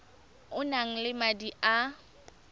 o nang le madi a